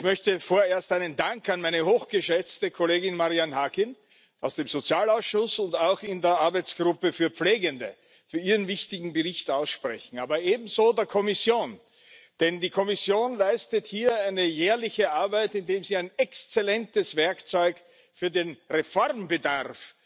Ich möchte vorerst einen Dank an meine hochgeschätzte Kollegin Marian Harkin aus dem Sozialausschuss und auch in der Arbeitsgruppe für Pflegende für ihren wichtigen Bericht aussprechen, aber ebenso der Kommission, denn die Kommission leistet hier eine jährliche Arbeit, indem sie ein exzellentes Werkzeug für den Reformbedarf